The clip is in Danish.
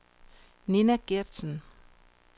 Nina Gertsen